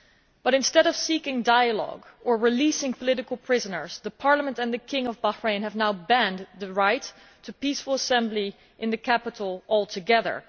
But instead of seeking dialogue or releasing political prisoners, the Parliament and the King of Bahrain have now banned the right to peaceful assembly in the capital altogether.